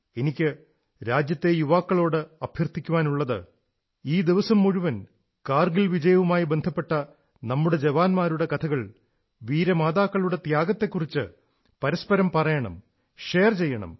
എനിക്ക് രാജ്യത്തെ യുവാക്കളോട് അഭ്യർഥിക്കാനുള്ളത് ഇന്ന് ദിവസം മുഴുവൻ കാർഗിൽ വിജയവുമായി ബന്ധപ്പെട്ട നമ്മുടെ ജവാന്മാരുടെ കഥകൾ വീരമാതാക്കളുടെ ത്യാഗത്തെക്കുറിച്ച് പരസ്പരം പറയണം ഷെയർ ചെയ്യണം